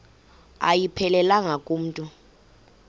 ayiphelelanga ku mntu